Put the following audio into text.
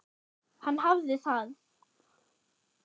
Hann hafði það.